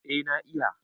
eh na iya